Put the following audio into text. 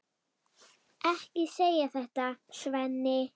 Ekki segja þetta, Svenni.